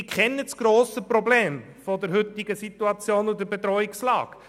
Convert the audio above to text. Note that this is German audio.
Sie kennen das grosse Problem der heutigen Situation und Bedrohungslage.